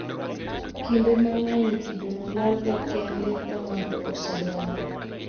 Kinde mang'eny, kidono lalga kende ka ng'ato osedongo.